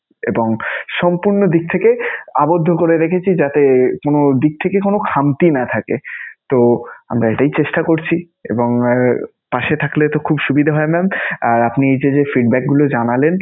এবং সম্পূর্ণ দিক থেকে আবধ্য করে রেখেছি যাতে কোন দিক থেকে কোন খামতি না থাকে. তো আমরা এটাই চেষ্টা করছি এবং পাশে থাকলে তো খুব সুবিধা হয় mam. আর আপনি যে যে feedback গুলো জানালেন